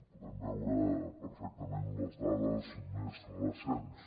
podem veure perfectament les dades més recents